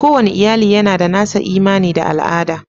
Kowane iyali yana da nasa imani da al'ada.